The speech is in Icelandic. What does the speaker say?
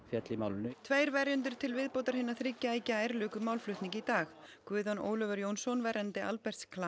féll í málinu tveir verjendur til viðbótar hinna þriggja í gær luku málflutningi í dag Guðjón Ólafur Jónsson verjandi Alberts